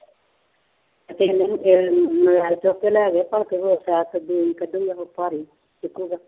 ਤੇ ਉਹਨੂੰ ਇਹ ਮੋਬਾਇਲ ਚੁੱਕ ਕੇ ਲੈ ਗਿਆ ਭਲਕ ਉਹ ਸ਼ਾਇਦ ਤਜੋਰੀ ਕੱਢ ਲਿਆਵੇ ਭਾਰੀ